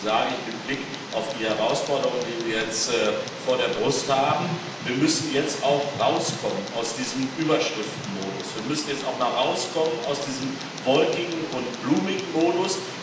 Und deswegen sage ich mit Blick auf die Herausforderungen, die wir jetzt vor der Brust haben Wir müssen jetzt auch herauskommen aus diesem Überschriftenmodus, wir müssen jetzt auch mal herauskommen aus diesem wolkigen und blumigen Modus.